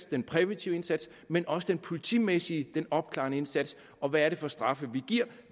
den præventive indsats men også den politimæssige den opklarende indsats og hvad er det for straffe vi giver